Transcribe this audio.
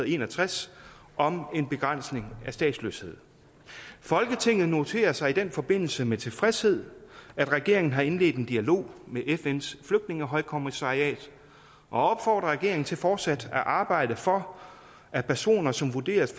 en og tres om begrænsning af statsløshed folketinget noterer sig i den forbindelse med tilfredshed at regeringen har indledt dialog med fns flygtningehøjkommissariat og opfordrer regeringen til fortsat at arbejde for at personer som vurderes